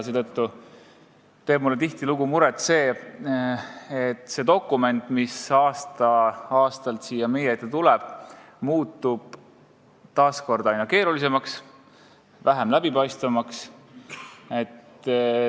Seetõttu teeb mulle muret, et see dokument, mis aasta aasta järel siia meie ette tuleb, muutub aina keerulisemaks, vähem läbipaistvaks.